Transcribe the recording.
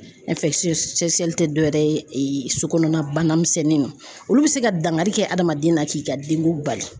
tɛ dɔwɛrɛ ye so kɔnɔna banamisɛnninw olu bi se ka dankari kɛ adamaden na k'i ka denkun bali.